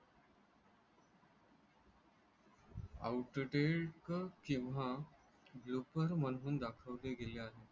out deck किंवा joker म्हणून दाखवली गेली आहे.